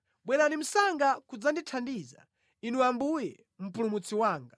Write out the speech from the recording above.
Bwerani msanga kudzandithandiza, Inu Ambuye Mpulumutsi wanga.